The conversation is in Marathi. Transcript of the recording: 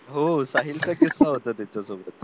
हो साहिलचा किस्सा होता तिच्यासोबत